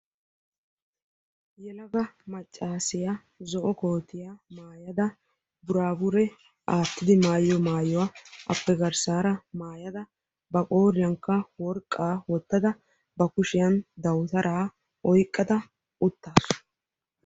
Yelaga maccaasiya zo'o kootiya mayada buraabure aattidi mayiyo mayuwa appe garssaara mayada ba qooriyankka worqqaa wottada ba kushiyan dawutaraa oyiqqada uttaasu.